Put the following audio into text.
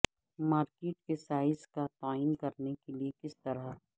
market کے size کا تعین کرنے کے لئے کس طرح